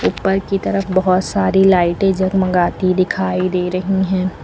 ऊपर की तरफ बहोत सारी लाइटे जगमगाती दिखाई दे रही है।